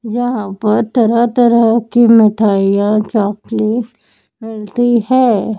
यहां पर तरह तरह की मिठाइयां चॉकलेफ मिलती हैं।